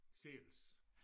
Selvs